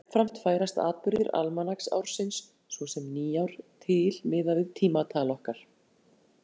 Jafnframt færast atburðir almanaksársins, svo sem nýár, til miðað við tímatal okkar.